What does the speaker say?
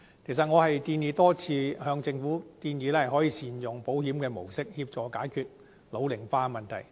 我多次建議政府善用保險模式，協助解決人口老齡化的問題。